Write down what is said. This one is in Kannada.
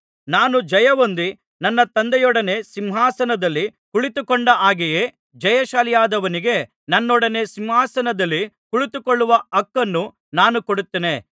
ನಾನು ಜಯಹೊಂದಿ ನನ್ನ ತಂದೆಯೊಡನೆ ಸಿಂಹಾಸನದಲ್ಲಿ ಕುಳಿತುಕೊಂಡ ಹಾಗೆಯೇ ಜಯಶಾಲಿಯಾದವನಿಗೆ ನನ್ನೊಡನೆ ಸಿಂಹಾಸನದಲ್ಲಿ ಕುಳಿತುಕೊಳ್ಳುವ ಹಕ್ಕನ್ನು ನಾನು ಕೊಡುತ್ತೇನೆ